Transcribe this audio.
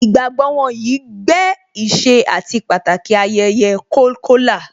Ìgbàgbọ́ wọn yìí gbé ìṣe àti Pàtàki ayẹyẹ Kolkola